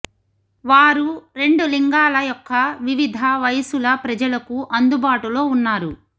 వారు రెండు లింగాల యొక్క వివిధ వయసుల ప్రజలకు అందుబాటులో ఉన్నారు